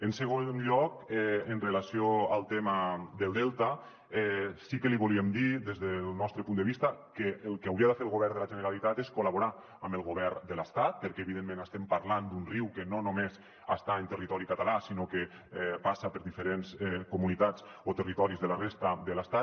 en segon lloc en relació amb el tema del delta sí que li volíem dir des del nostre punt de vista que el que hauria de fer el govern de la generalitat és col·laborar amb el govern de l’estat perquè evidentment estem parlant d’un riu que no només està en territori català sinó que passa per diferents comunitats o territoris de la resta de l’estat